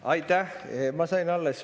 Aitäh!